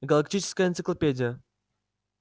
галактическая энциклопедия